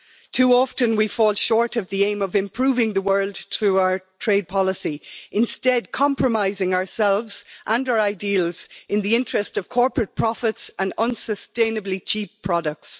Too often we fall short of the aim of improving the world through our trade policy, instead compromising ourselves and our ideals in the interest of corporate profits and unsustainably cheap products.